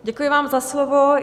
Děkuji vám za slovo.